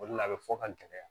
O de la a bɛ fɔ ka gɛlɛya